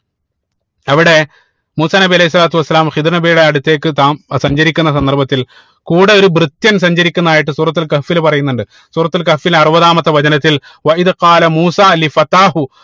അവിടെ മൂസാ നബി അലൈഹി സ്വലാത്തു വസ്സലാം ഹിള്ർ നബിയുടെ അടുത്തേക്ക് താ സഞ്ചരിക്കുന്ന സന്ദർഭത്തിൽ കൂടെ ഒരു ഭൃത്യൻ സഞ്ചരിക്കുന്നതായിട്ട് സൂറത്തുൽ കഹ്ഫിൽ പറയുന്നുണ്ട് സൂറത്തുൽ കഹ്ഫിൽ അറുപതാമത്തെ വചനത്തിൽ മൂസാ